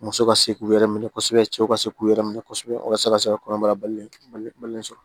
Muso ka se k'u yɛrɛ minɛ kosɛbɛ cɛw ka se k'u yɛrɛ minɛ kosɛbɛ walasa ka se ka kɔnɔbara balolen sɔrɔ